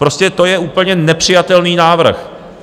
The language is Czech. Prostě to je úplně nepřijatelný návrh.